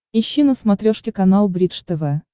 ищи на смотрешке канал бридж тв